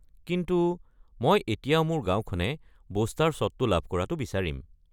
কিন্তু মই এতিয়াও মোৰ গাঁওখনে বুষ্টাৰ শ্বটটো লাভ কৰাটো বিচাৰিম।